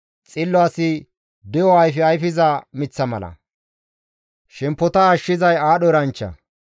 Xillo asi de7o ayfe ayfiza miththa mala; shemppota ashshizay aadho eranchcha.